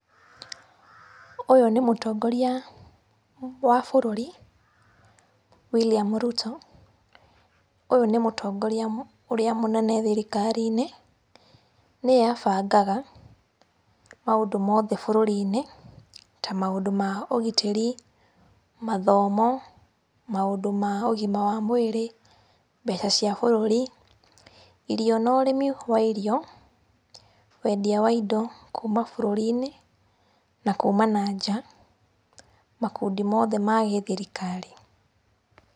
Ũyũ nĩ mũtongoria wa bũrũri William Ruto. Ũyũ nĩ mũtongoria ũrĩa mũnene thirikari-inĩ, nĩye abangaga maũndũ mothe bũrũri-inĩ, ta maũndũ ma ũgitĩri, mathomo, maũndũ ma ũgima wa mwĩrĩ, mbeca cia bũrũri, irio na ũrĩmi wa irio, wendia wa indo kuma bũrũri-inĩ na kuma na nja, makundi mothe ma gĩthirikari.